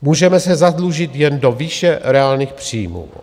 Můžeme se zadlužit jen do výše reálných příjmů.